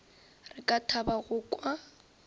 re ka thaba go kwa